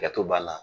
Ka to b'a la